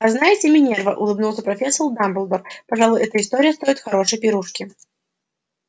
а знаете минерва улыбнулся профессор дамблдор пожалуй эта история стоит хорошей пирушки